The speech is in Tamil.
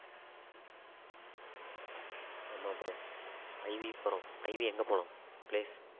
ஆமா bro IV போறோம் IV எங்க போலாம் place